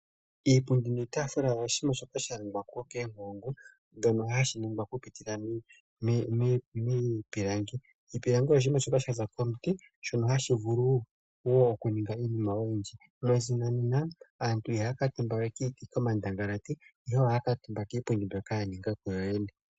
Iipundi niitaafula oshinima shoka sha ningwa koonkulungu shoka hashi ningwa okupitila miipilangi. Iipilangi oshinima shoka sha za komuti shono hashi vulu wo okuningwa miinima oyindji. Moshinanena aantu ihaya kuutumba we komandangalati, ihe ohaya kuutumba kiipundi mbyoka ya ninga kuyo yene.